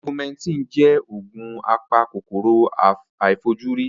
Augumentin jẹ́ òògùn apa kòkòrò àìfojúrí.